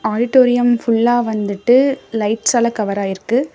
Auditorium ஃபுல்லா வந்துட்டு லைட்ஸ்சால கவர் ஆயிருக்கு.